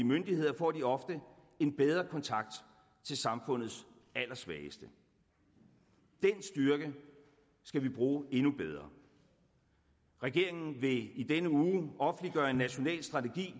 myndigheder får de ofte en bedre kontakt til samfundets allersvageste den styrke skal vi bruge endnu bedre regeringen vil i denne uge offentliggøre en national strategi